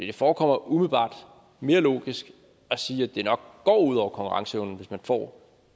det forekommer umiddelbart mere logisk at sige at det nok går ud over konkurrenceevnen hvis man får